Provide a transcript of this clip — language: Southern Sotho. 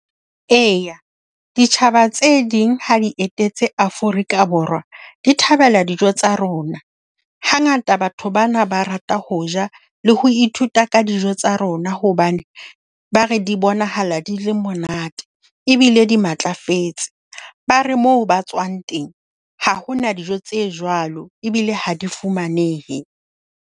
E, ditjhaba tse ding ha di etetse Afrika Borwa, di thabela dijo tsa rona. Hangata batho bana ba rata ho ja le ho ithuta ka dijo tsa rona hobane ba re di bonahala di le monate ebile di matlafetse. Ba re moo ba tswang teng ha hona dijo tse jwalo, ebile ha di fumanehe.